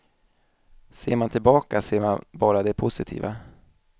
Ser man tillbaka ser man bara det positiva.